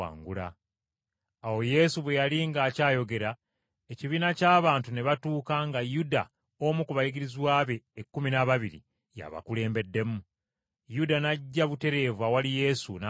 Awo Yesu bwe yali ng’akyayogera, ekibiina ky’abantu ne batuuka nga Yuda, omu ku bayigirizwa be ekkumi n’ababiri, y’abakulembedde. Yuda n’ajja butereevu awali Yesu, n’amunywegera.